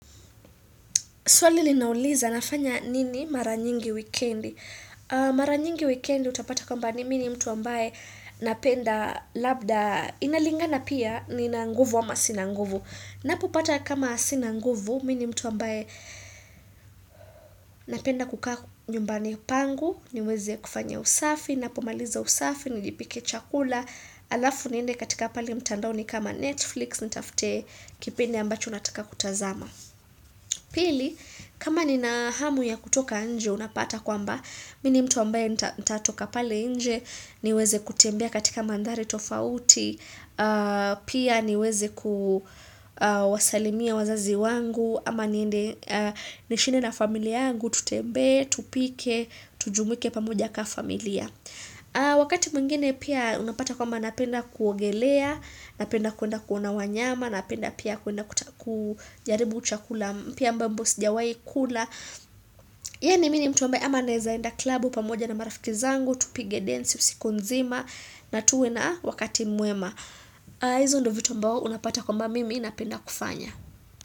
Swali linauliza, nafanya nini maranyingi weekend? Maranyingi weekendi utapata kwa mbani mini mtu ambaye napenda labda inalingana pia nina nguvu ama sinanguvu. Napopata kama sinanguvu, mini mtu ambaye napenda kukaa nyumbani pangu, niweze ya kufanya usafi, napomaliza usafi, nijipike chakula, alafu niende katika pale mtandao ni kama Netflix, nitafute kipindu ambacho nataka kutazama. Pili, kama ni na hamu ya kutoka nje unapata kwamba, mini mtu ambaye nitatoka pale nje, niweze kutembea katika mandhari tofauti, pia niweze kuwasalimia wazazi wangu, ama niende nishinde na familia angu tutembe, tupike, tujumike pamoja kaa familia. Wakati mungine pia unapata kwamba napenda kuogelea napenda kuenda kuona wanyama napenda pia kuenda kujaribu uchakula mpya ambapo sijawai kula ya ni mini mtu ambaye ama nezaenda klabu pamoja na marafiki zangu tupige dance usikunzima na tuwe na wakati muema hizo ndovito mbao unapata kwamba mimi inapenda kufanya.